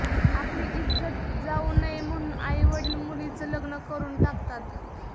आपली इज्जत जाऊ नये म्हणून आईवडिल मुलीचं लग्न करून टाकतात